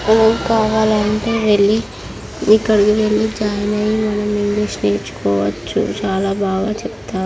go కావాలంటే వెళ్లి ఇక్కడికి వెళ్లి చాల మంద ఇంగ్లీష్ నేర్చుకోవచ్చు చాలా బాగా చెప్తారు..